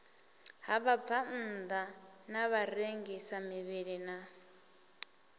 ha vhabvannḓa na vharengisamivhili na